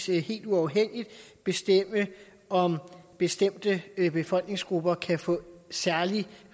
helt uafhængigt kan bestemme om bestemte befolkningsgrupper kan få særlig